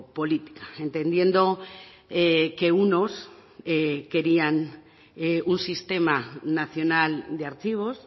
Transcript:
política entendiendo que unos querían un sistema nacional de archivos